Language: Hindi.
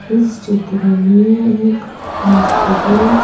इस क्षेत्र में एक हॉस्पिटल--